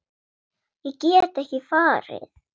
Ég get ekki farið.